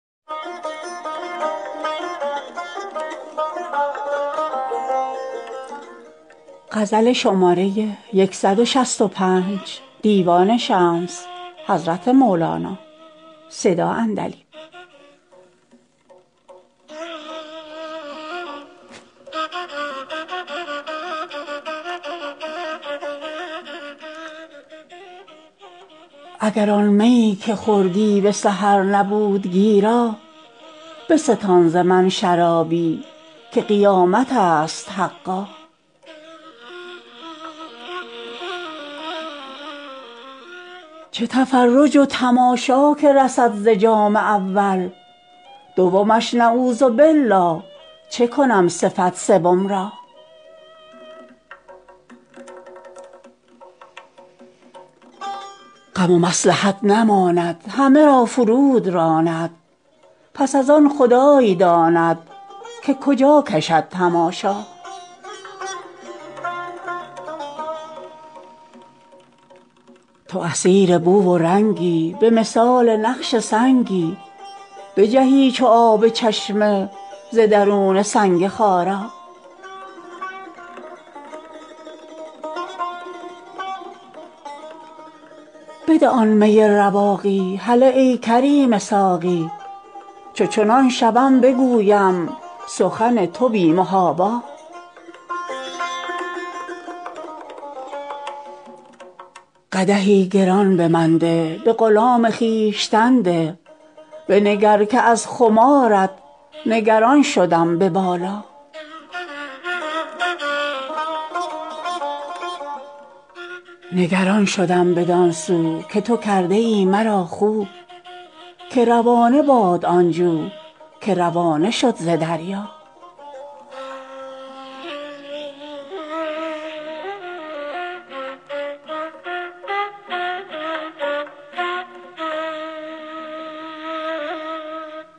اگر آن میی که خوردی به سحر نبود گیرا بستان ز من شرابی که قیامت است حقا چه تفرج و تماشا که رسد ز جام اول دومش نعوذبالله چه کنم صفت سوم را غم و مصلحت نماند همه را فرو دراند پس از آن خدای داند که کجا کشد تماشا تو اسیر بو و رنگی به مثال نقش سنگی بجهی چو آب چشمه ز درون سنگ خارا بده آن می رواقی هله ای کریم ساقی چو چنان شوم بگویم سخن تو بی محابا قدحی گران به من ده به غلام خویشتن ده بنگر که از خمارت نگران شدم به بالا نگران شدم بدان سو که تو کرده ای مرا خو که روانه باد آن جو که روانه شد ز دریا